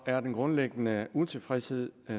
er den grundlæggende utilfredshed